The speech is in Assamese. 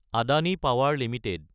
Adani power Ltd